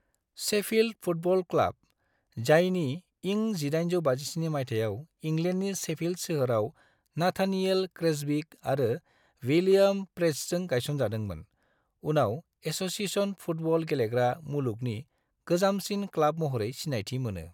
Sheffield football club, जायनि इं 1857 माइथायाव इंग्लेन्डनि शेफिल्ड सोहोराव नाथानिएल क्रेसबिक आरो बिलियम प्रेस्टजों गायसनजादोंमोन, उनाव एस'सिएशन फुटबल गेलेग्रा मुलुगनि गोजामसिन क्लाब महरै सिनायथि मोनो।